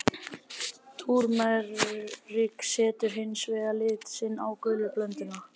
Túrmerik setur hins vegar lit sinn á gulu blönduna.